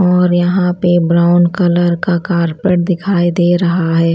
और यहां पे ब्राउन कलर का कारपेट दिखाई दे रहा है।